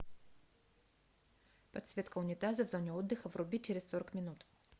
подсветка унитаза в зоне отдыха вруби через сорок минут